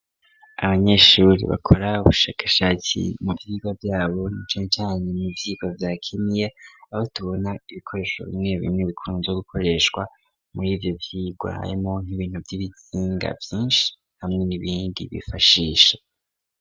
abanyeshuri bakora ubushakashaki mu vyirwa vyabo na cancane mu ivyirwa vya kimwe abo tubona ibikoresho bimwe bimwe ibikunzwe gukoreshwa muri ivyo vyirwa higanjemwo nk'ibintu vy'ibisinga vyinshi hamwe n'ibindi bifashishe.